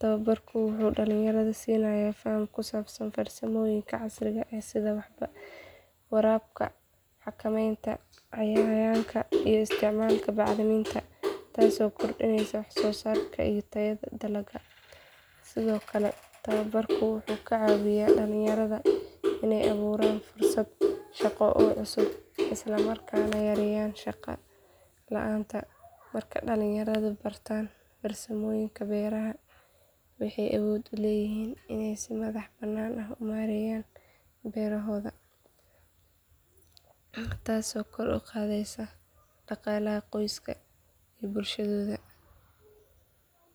Tababarku wuxuu dhalinyarada siinayaa faham ku saabsan farsamooyinka casriga ah sida waraabka, xakamaynta cayayaanka iyo isticmaalka bacriminta, taasoo kordhinaysa wax soo saarka iyo tayada dalagyada. Sidoo kale, tababarku wuxuu ka caawiyaa dhalinyarada inay abuuraan fursado shaqo oo cusub isla markaana yareeyaan shaqo la’aanta. Markay dhalinyaradu bartaan farsamooyinka beeraha waxay awood u leeyihiin inay si madax banaan u maareeyaan beerahooda, taasoo kor u qaadaysa dhaqaalaha qoyska iyo bulshadooda.